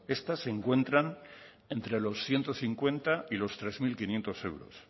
estas se encuentran entre los ciento cincuenta y los tres mil quinientos euros